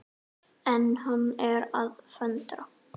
En hann er að föndra.